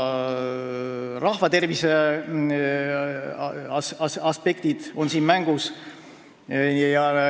Ka rahvatervise aspektid on siin mängus.